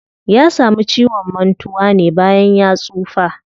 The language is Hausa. Ya samu ciwon mantuwa ne bayan ya tsufa.